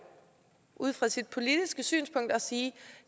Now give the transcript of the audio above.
ud fra sit politiske synspunkt at sige